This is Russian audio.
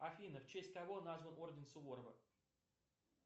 афина в честь кого назван орден суворова